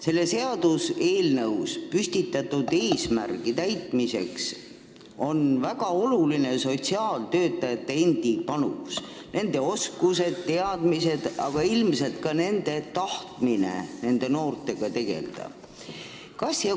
Selles seaduseelnõus püstitatud eesmärgi täitmiseks on väga oluline sotsiaaltöötajate panus – nende oskused, teadmised, aga ka nende tahtmine noortega tegelda.